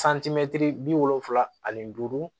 santimɛtiri bi wolonfila ani duuru